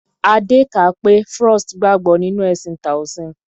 Adé kà á pé Frost gbàgbọ́ nínú ẹ̀sìn Toasim.